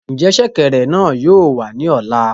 Njẹ ṣẹ̀kẹ̀rẹ̀ náà yóò wà ní ọ̀la?